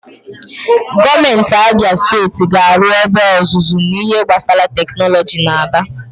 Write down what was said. Gọọmenti Abịa Steeti ga-arụ ebe ọzụzụ n'ihe gbasara tekinọlọji n'Aba.